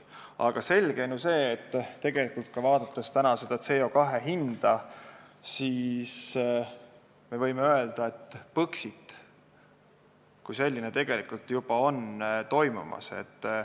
Aga selge on ju, vaadates ka CO2 hinda, et Põxit kui selline tegelikult on juba toimumas.